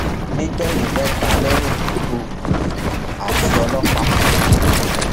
nígbẹyìn mẹta lèèyàn tó tó kú àti ọlọpàá kan